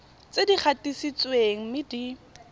tse di gatisitsweng mme di